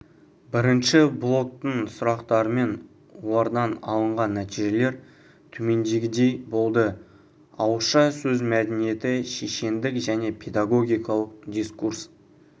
бірінші блоктың сұрақтары мен олардан алынған нәтижелер төмендегідей болды ауызша сөз мәдениеті шешендік және педагогикалық дискурс